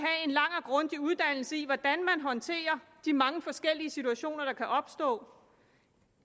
grundig uddannelse i hvordan man håndterer de mange forskellige situationer der kan opstå og